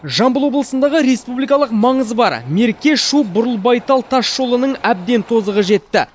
жамбыл облысындағы республикалық маңызы бар мерке шу бұрылбайтал тасжолының әбден тозығы жетті